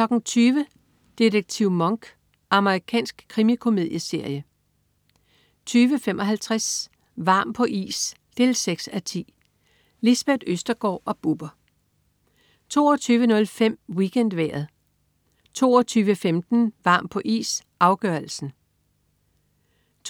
20.00 Detektiv Monk. Amerikansk krimikomedieserie 20.55 Varm på is 6:10. Lisbeth Østergaard og Bubber 22.05 WeekendVejret 22.15 Varm på is, afgørelsen